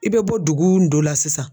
I bɛ bɔ dugun dɔ la sisan